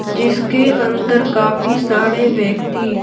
जिसके अंदर काफी सारे व्यक्ति--